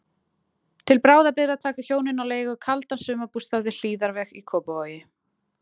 Til bráðabirgða taka hjónin á leigu kaldan sumarbústað við Hlíðarveg í Kópavogi.